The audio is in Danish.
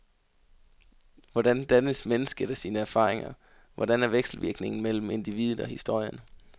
Hvordan dannes mennesket af sine erfaringer, hvordan er vekselvirkningen mellem individet og historien?